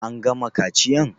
An gama kaciyan?